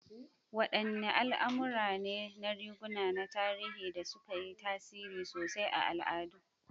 Wadanne al'amura ne na riguna na tarihi da suka yi tasiri sosai a al'adu?